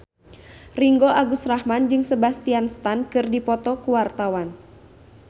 Ringgo Agus Rahman jeung Sebastian Stan keur dipoto ku wartawan